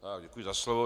Děkuji za slovo.